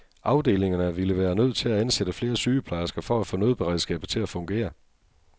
Afdelingerne ville være nødt til at ansætte flere sygeplejersker for at få nødberedskabet til at fungere.